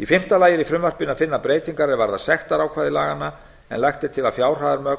í fimmta lagi er í frumvarpinu að finna breytingar er varða sektarákvæði laganna en lagt er til að fjárhæðarmörk